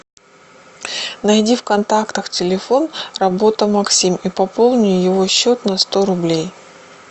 найди в контактах телефон работа максим и пополни его счет на сто рублей